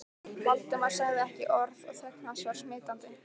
Valdimar sagði ekki orð og þögn hans var smitandi.